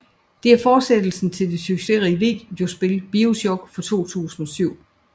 Det er fortsættelsen til det succesrige videospil BioShock fra 2007